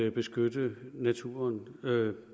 at beskytte naturen